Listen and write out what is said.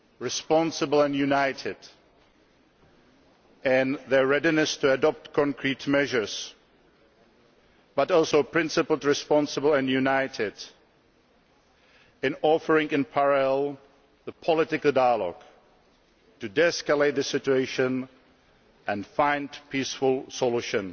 responsible and united in their readiness to adopt concrete measures, but also principled, responsible and united in offering, at the same time, political dialogue to de escalate the situation and find a peaceful solution,